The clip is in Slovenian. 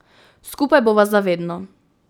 Skupaj bova za vedno.